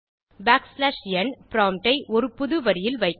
back slash n prompt ஐ ஒரு புது வரியில் வைக்கும்